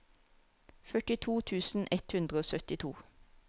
førtito tusen ett hundre og syttito